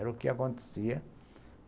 Era o que acontecia.